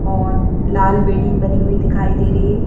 और लाल बिल्डिंग बनी हुई दिखाई दे रही है।